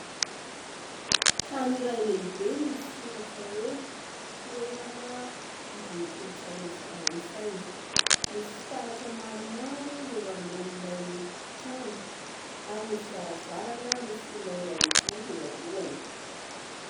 Trano iray lehibe misy soratra hoe: "toerana ivon'ny kolontsaina frantsay". Misy fitaratra maro maro eo alohan'ilay trano, ary misy varavarana misy olona iray mijoro eo alohany.